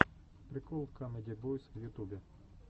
прикол камеди бойз в ютубе